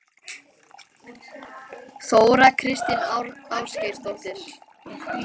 Þóra Kristín Ásgeirsdóttir: Er þetta eldfimt mál?